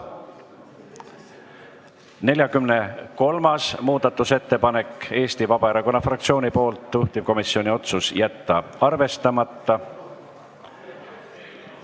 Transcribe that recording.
43. muudatusettepanek on Eesti Vabaerakonna fraktsioonilt, juhtivkomisjoni otsus: jätta arvestamata.